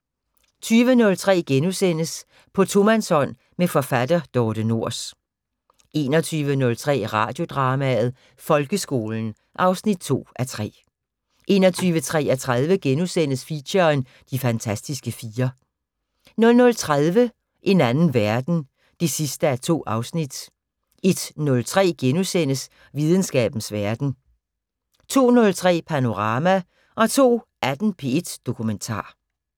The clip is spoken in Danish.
20:03: På tomandshånd med forfatter Dorthe Nors * 21:03: Radiodrama: Folkeskolen 2:3 21:33: Feature: De fantastiske fire * 00:30: En anden verden 2:2 01:03: Videnskabens Verden * 02:03: Panorama 02:18: P1 Dokumentar